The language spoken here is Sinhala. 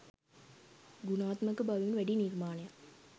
ගුණාත්මක බවින් වැඩි නිර්මාණයක්